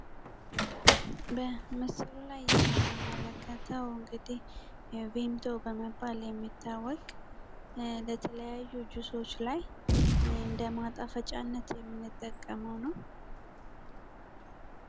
በምስሉ ላይ የምንመለከተው እንግዲህ ቬንቶ በመባል የሚታወቅ ለተለያዩ ጁሶች ላይ እንደማጣፈጫነት የምንጠቀመው ነው።